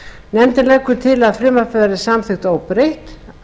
nefndin leggur til að frumvarpið verði samþykkt óbreytt